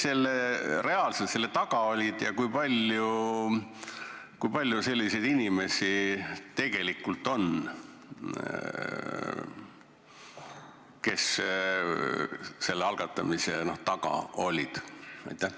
Kes reaalselt selle taga olid ja kui palju neid inimesi tegelikult on, kes selle algatamise taga olid?